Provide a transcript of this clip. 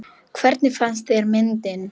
Hvernig fannst þér myndin?